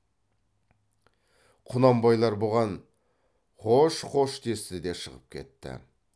құнанбайлар бұған қош қош десті де шығып кетті